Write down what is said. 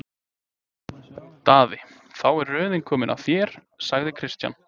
Daði, þá er röðin komin að þér, sagði Christian.